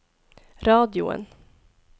radioen